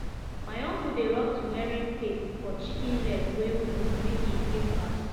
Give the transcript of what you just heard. my uncle dey rub turmeric paste for chicken leg wey wound make e heal fast